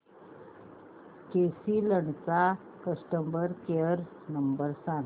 केसी इंड चा customer care number सांग